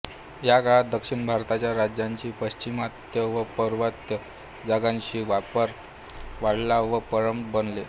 या काळात दक्षिण भारताच्या राज्यांनी पाश्चिमात्य व पौर्वात्य जगाशी व्यापार वाढवला व प्रबळ बनले